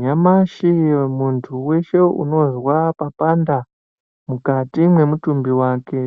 Nyamashi muntu weshe unozwa papanda mukati mwemutumbi wake